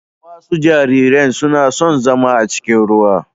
Wasu jariran suna son zama a cikin ruwa.